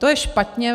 To je špatně.